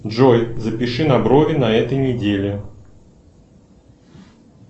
джой запиши на брови на этой неделе